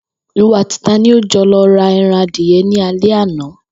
Ìwo àti ta ni ó jo̩ lo̩ ra e̩ran adìye̩ ní alé̩ àná?